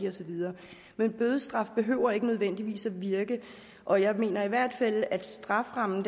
og så videre men bødestraf behøver ikke nødvendigvis at virke og jeg mener i hvert fald at strafferammen